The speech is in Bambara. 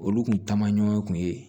Olu kun taamaɲɔ kun ye